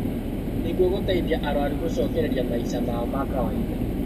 Nĩguo gũteithia arũaru gũcokereria maica mao ma kawainda